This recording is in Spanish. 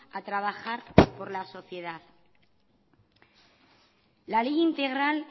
a trabajar por la sociedad la ley integral